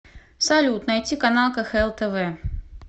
салют найти канал кхл тв